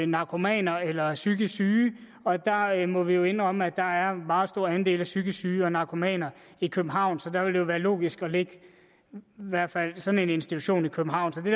narkomaner eller psykisk syge og der må vi indrømme at der er en meget stor andel af psykisk syge og narkomaner i københavn så det vil jo være logisk at lægge i hvert fald sådan en institution i københavn så det